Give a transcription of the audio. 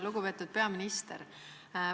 Lugupeetud peaminister!